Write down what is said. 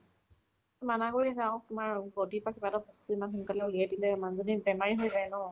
মানা কৰি আছে আৰু তোমাৰ body part কিবা এটা ইমান সোনকালে উলিয়াই দিলে মানুহজনী বেমাৰী হৈ যায় ন